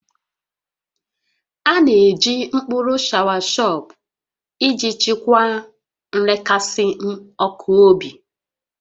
A na-eji mkpụrụ shọawashọp iji chịkwaa nrekasị ọkụ obi